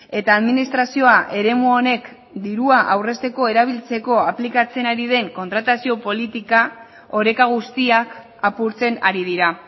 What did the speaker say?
eta administrazioa eremu honek dirua aurrezteko erabiltzeko aplikatzen ari den kontratazio politika oreka guztiak apurtzen ari dira